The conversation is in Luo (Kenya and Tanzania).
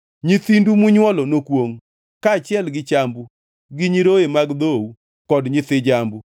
Nyithindu munywolo nokwongʼ, kaachiel gi chambu, gi nyiroye mag dhou kod nyithi jambu.